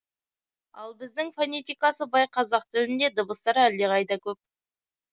ал біздің фонетикасы бай қазақ тілінде дыбыстар әлдеқайда көп